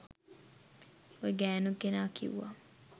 ඔය ගෑනු කෙනා කිවුවා